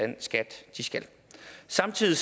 den skat de skal samtidig